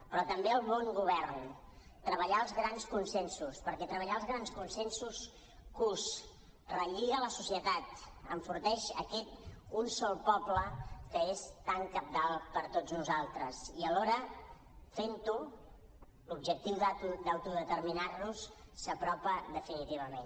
però també el bon govern treballar els grans consensos perquè treballar els grans consensos cus relliga la societat enforteix aquest un sol poble que és tan cabdal per a tots nosaltres i alhora fent ho l’objectiu d’autodeterminar nos s’apropa definitivament